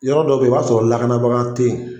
Yɔrɔ dɔ be yen i b'a sɔrɔ lakanabaga te ye